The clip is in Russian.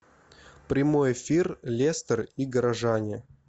прямой эфир лестер и горожане